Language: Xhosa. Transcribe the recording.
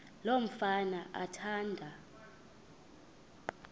lo mfana athanda